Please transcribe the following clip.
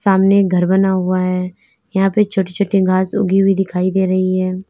सामने घर बना हुआ है यहां पर छोटी छोटी घास उगी हुई दिखाई दे रही है।